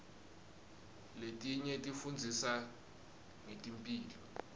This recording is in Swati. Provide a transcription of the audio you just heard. letinye tifundzisa ngetemphilo